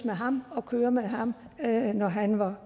af ham og køre med ham når han var